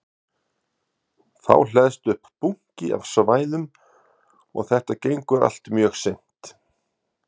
Þá hleðst upp bunki af svæðum og þetta gengur allt mjög seint.